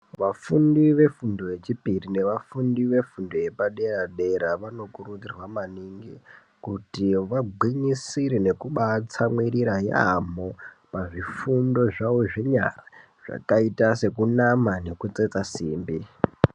Vafundi vefundo yechipiri nevafundi vefundo yepadera dera, vanokurudzirwa maningi kuti vabwinyisire nekubatsamwirira yamo pazvifundo zvawo zvenyara yakaita sekunama nekutsetsa simbi.